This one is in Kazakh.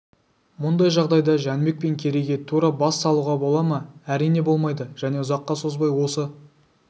мұндай жағдайда жәнібек пен керейге тура бас салуға бола ма әрине болмайды және ұзаққа созбай осы